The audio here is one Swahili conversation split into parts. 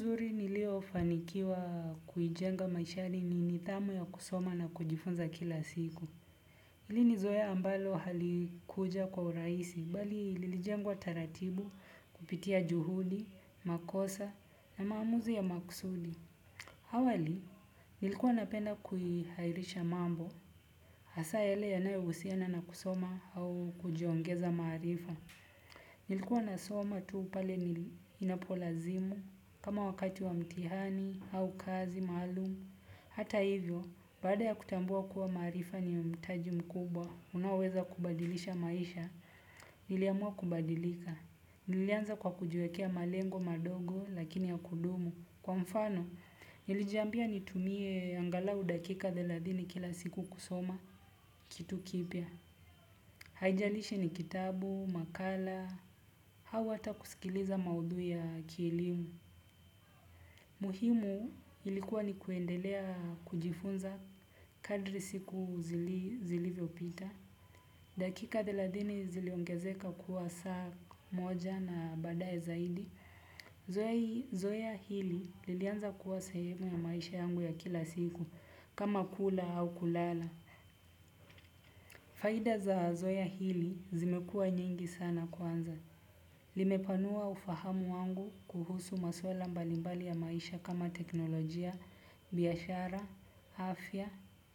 Uzuri niliofanikiwa kuijenga maishani ni nidhamu ya kusoma na kujifunza kila siku. Hili ni zoea ambalo halikuja kwa urahisi, bali lilijengwa taratibu kupitia juhudi, makosa na maamuzi ya maksudi. Hawali, nilikuwa napenda kuihairisha mambo. Hasa yale yanayohusiana na kusoma au kujiongeza maarifa. Nilikuwa nasoma tu pale anapolazimu, kama wakati wa mtihani, au kazi, maalum. Hata hivyo, baada ya kutambua kuwa maarifa ni mtaji mkubwa, unaoweza kubadilisha maisha, niliamua kubadilika. Nilianza kwa kujiwekea malengo madogo, lakini ya kudumu. Kwa mfano, nilijiambia nitumie angalau dakika thelathini kila siku kusoma, kitu kipya. Haijalishi ni kitabu, makala, au hata kusikiliza maudhui ya kielimu. Muhimu ilikuwa ni kuendelea kujifunza kadri siku zilivyopita. Dakika thelathini ziliongezeka kuwa saa mmoja na baadaye zaidi zoea hii. Zoea hili lilianza kuwa sehemu ya maisha yangu ya kila siku kama kula au kulala. Faida za zoea hili zimekua nyingi sana kwanza. Limepanua ufahamu wangu kuhusu maswala mbalimbali ya maisha kama teknolojia, biashara, afya,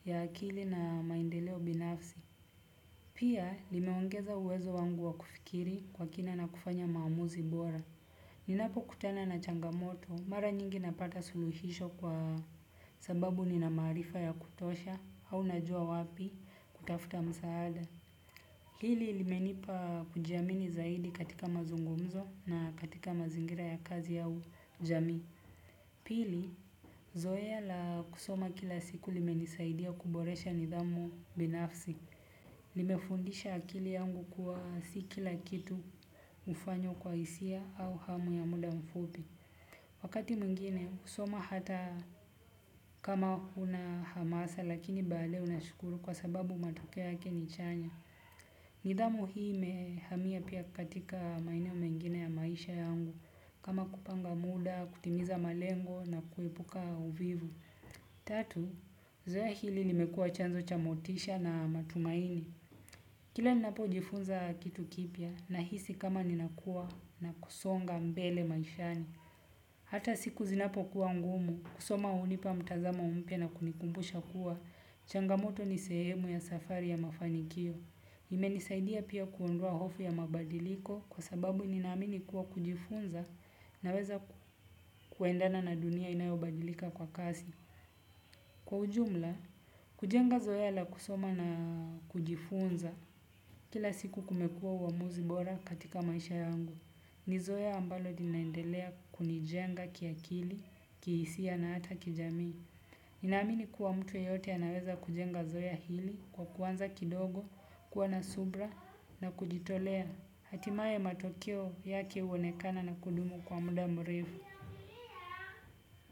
ya akili na maendeleo binafsi. Pia limeongeza uwezo wangu wa kufikiri kwa kina na kufanya maamuzi bora. Ninapokutana na changamoto mara nyingi napata suluhisho kwa sababu nina maarifa ya kutosha au najua wapi kutafta msaada. Hili limenipa kujiamini zaidi katika mazungumzo na katika mazingira ya kazi au jamii. Pili, zoea la kusoma kila siku limenisaidia kuboresha nidhamu binafsi. Limefundisha akili yangu kuwa si kila kitu hufanywa kwa hisia au hamu ya muda mfupi. Wakati mwingine husoma hata kama huna hamasa lakini baadaye unashukuru kwa sababu matokea yake ni chanya. Nidhamu hii imehamia pia katika maeneo mengine ya maisha yangu kama kupanga muda, kutimiza malengo na kuepuka uvivu. Tatu, zoea hili limekuwa chanzo cha motisha na matumaini. Kila ninapojifunza kitu kipya nahisi kama ninakuwa na kusonga mbele maishani hata siku zinapokuwa ngumu kusoma hunipa mtazamo mpya na kunikumbusha kuwa changamoto ni sehemu ya safari ya mafanikio imenisaidia pia kuondoa hofu ya mabadiliko kwa sababu ninaamini kuwa kujifunza naweza kuendana na dunia inayobadilika kwa kasi. Kwa ujumla, kujenga zoea la kusoma na kujifunza kila siku kumekua uamuzi bora katika maisha yangu. Ni zoea ambalo linaendelea kunijenga kiakili, kihisia na hata kijamii. Ninaamini kuwa mtu yeyote anaweza kujenga zoea hili kwa kuanza kidogo kuwa na subra na kujitolea hatimaye matokeo yake uonekana na kudumu kwa muda mrefu.